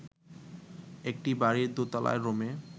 একটা বাড়ির দোতলার রুমে